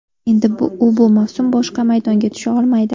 Endi u bu mavsum boshqa maydonga tusha olmaydi.